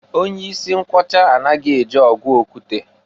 Onye isi mkwọcha anaghi eje ọgụ okwute.